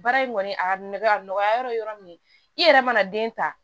Baara in kɔni a ka nɔgɔ a nɔgɔya yɔrɔ ye yɔrɔ min ye i yɛrɛ mana den ta